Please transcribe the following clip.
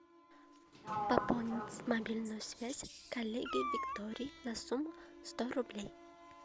пополнить мобильную связь коллеге виктории на сумму сто рублей